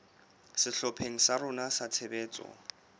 sehlopheng sa rona sa tshebetso